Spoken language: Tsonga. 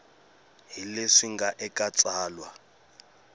hi leswi nga eka tsalwa